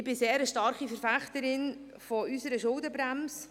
Ich bin eine starke Verfechterin unserer Schuldenbremse.